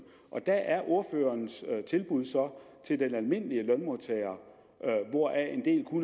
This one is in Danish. og der er ordførerens tilbud så til den almindelige lønmodtager hvoraf